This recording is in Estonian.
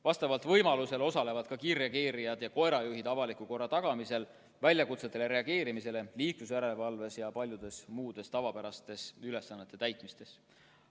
Võimaluse korral osalevad ka kiirreageerijad ja koerajuhid avaliku korra tagamisel, väljakutsetele reageerimisel, liiklusjärelevalves ja paljude muude tavapäraste ülesannete täitmises.